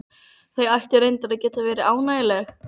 Goðarnir voru af ættum hinna tignustu landnámsmanna.